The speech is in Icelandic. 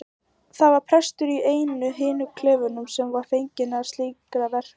Það var prestur í einum af hinum klefunum sem var fenginn til slíkra verka.